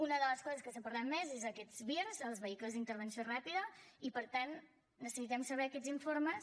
una de les coses que s’ha parlat més són aquests vir els vehicles d’intervenció ràpida i per tant necessitem saber aquests informes